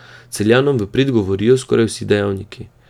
Celjanom v prid govorijo skoraj vsi dejavniki.